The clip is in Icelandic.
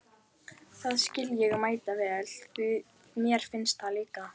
Það skil ég mætavel, því mér finnst það líka!